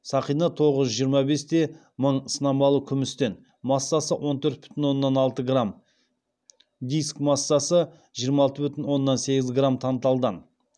сақина тоғыз жүз жиырма бес те мың сынамалы күмістен массасы он төрт бүтін оннан алты грамм диск массасы жиырма алты бүтін оннан сегіз грамм танталдан